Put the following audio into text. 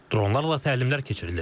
Dronlarla təlimlər keçirilir.